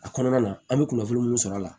A kɔnɔna na an bɛ kunnafoni minnu sɔrɔ a la